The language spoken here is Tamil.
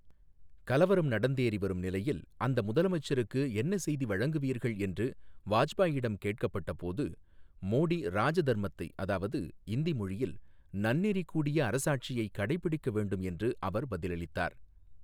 கலவரம் நடந்தேறிவரும் நிலையில் அந்த முதலமைச்சருக்கு என்ன செய்தி வழங்குவீர்கள் என்று வாஜ்பாயிடம் கேட்கப்பட்ட போது, மோடி ராஜதர்மத்தை அதாவது, இந்தி மொழியில், நன்னெறி கூடிய அரசாட்சியை கடைப்பிடிக்க வேண்டும் என்று அவர் பதிலளித்தார்.